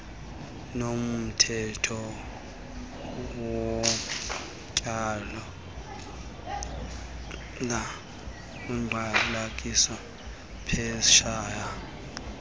nomthetho wotywala equkaiphetshana